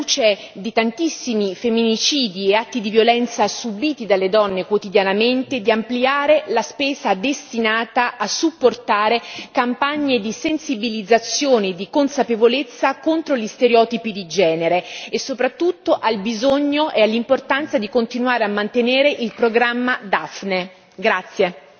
Inoltre, alla luce di tantissimi femminicidi e atti di violenza subiti dalle donne quotidianamente, sottolineo l'importanza di incrementare la spesa destinata a sostenere campagne di sensibilizzazione e di consapevolezza contro gli stereotipi di genere e soprattutto al bisogno e all'importanza di continuare a mantenere il programma DAPHNE.